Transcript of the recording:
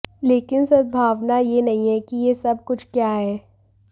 लेकिन सद्भावना यह नहीं है कि यह सब कुछ क्या है